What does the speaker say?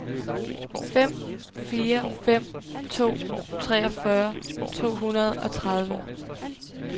fem fire fem to treogfyrre to hundrede og tredive